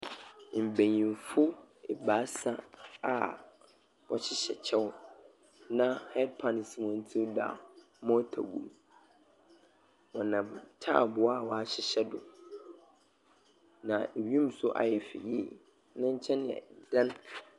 Mbenyinfo ebaasa a wɔhyehyɛ kyɛw, na headpan si hɔn tsir do a morter gu mu. Wɔnam taabow a wɔahyehyɛ do. N wien nso ayɛ fɛ yiye. Ne nkyɛn yɛ dan.